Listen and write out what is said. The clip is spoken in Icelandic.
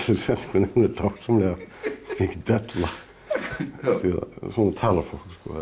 setningu en hún er dásamlega mikil della því svona talar fólk